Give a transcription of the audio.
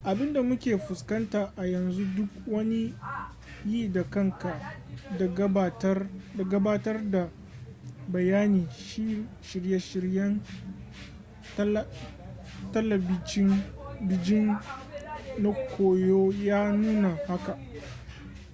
abin da muke fuskanta a yanzu da duk wani yi-da-kanka da gabatar da bayani shirye-shiryen talabijin na koyo ya nuna haka